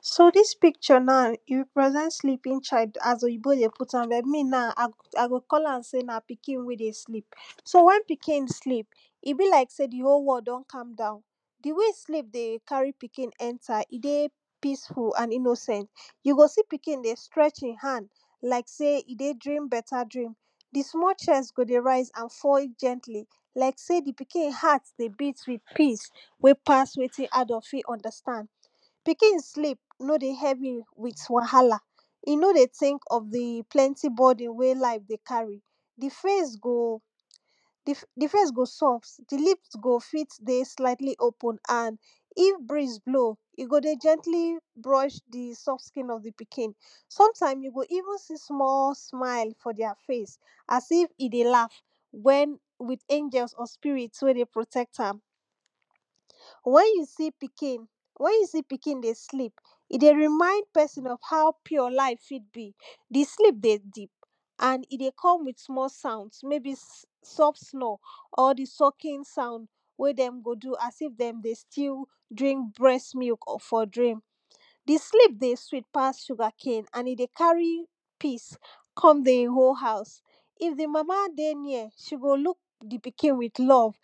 so dis picture na e represent sleepig child as pyinbo dey put am like me na i go call am sey na pikin wey dey sleep. so wen oikin dey sleep, e belike sey di whole world don com down di way sleep dey tek carry pikin enter e dey peaceful and innocent. you go see pikin dey stregth e hand like sey e dey dream beta dream di small chest go dey rise and fall gently like sey di pikin heart go dey beat with peace wey pass wetin adult fit understand. pikin sleep no dey with wahala, e no dey think of di plnty burden wey lfe dey carry di face go di face go soft, di lip go ey slightly open and go if breeze blow, e go dey gently vrush di soft skin of di pkin sometime you go evensee small smile for their face as if e dey laug with angels wey dey protect am wen you see pikin, wen you see pikin dey sleep, e dey remind pesin of ho pure life fit be di sleep dey deep and e dey come with small sound meybi soft snore or di socking sound wey dem go do as if dey deystill drink breast milk. di sleeo dey sweet and e dey carry peace kom dey e house if di mama dey near, she go look di pkin with love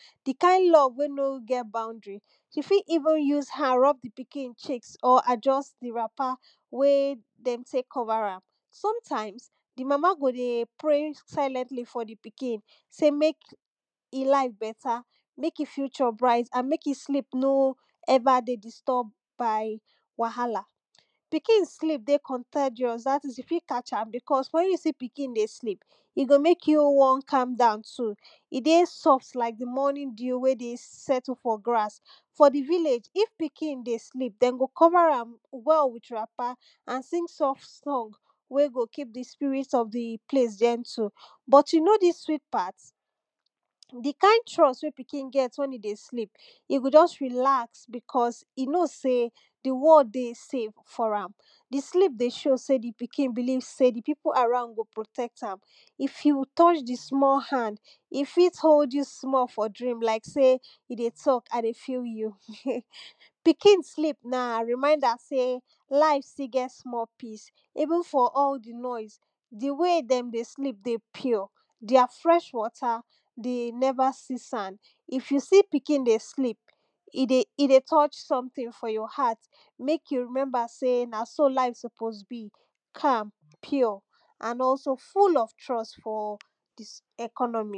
wey no get boudry se fit use hand rub di piin, adjust di wrapper wey dem tek cover am sometimes, di mama go dey raise silently for di pkin sey mek e life beta, mk e future bright andmek e sleep no everydey disturbed by wahala. pikin sleep dey contageous dat is you fit catch am wen you see pkin dey sleep, e go mek you won calm down too e dey soft like di morning dew wey dey settle for grass. for di village if pikin dey sleep, den go covr am wll with wrapper and bergin dey sing wey go keep di sprit of di place gentle. di kind trust wen piki get wen e dey sleep e go just relax cause e kow sey di world dey save for am di sleep dey show sey di pikin believe sey di pipu around go protect am f you touch di small hand, fit hold you small for dream like sey you dey talk i dey fel you. pkin sleep na reminder sey life fit get small peace even for all di noise, di way dem dey sleep dey pure. their fresh water dey neva see sand. if you see pikin, e dey touch somewhere for your heart mek you remembersey na so life suppose be pure and also full or trust for dis economy.